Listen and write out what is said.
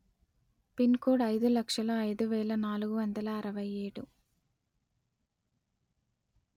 pin code అయిదు లక్షల అయిదు వేల నాలుగు వందల అరవై ఏడు